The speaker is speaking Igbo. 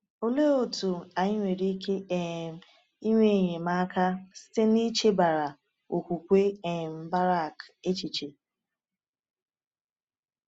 Olee otú anyị nwere ike um inwe enyemaka site n’ichebara okwukwe um Barak echiche?